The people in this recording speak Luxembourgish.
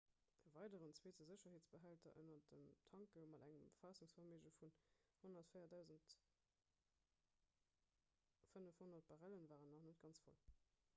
e weideren zweete sécherheetsbehälter ënner den tanke mat engem faassungsverméige vun 104 500 barrellen war nach net ganz voll